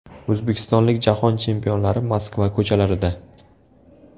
O‘zbekistonlik Jahon chempionlari Moskva ko‘chalarida .